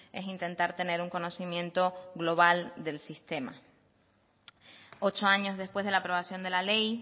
es intentar tener un conocimiento global del sistema ocho años después de la aprobación de la ley